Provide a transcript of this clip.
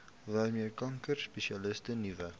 waarmee kankerspesialiste nuwe